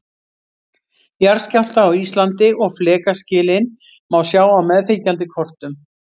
Jarðskjálfta á Íslandi og flekaskilin má sjá á meðfylgjandi kortum.